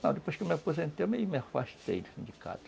Não, depois que me aposentei, me afastei do sindicato.